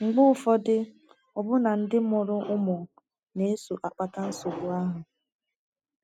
Mgbe ụfọdụ, ọbụna ndị mụrụ ụmụ na - eso akpata nsogbu ahụ.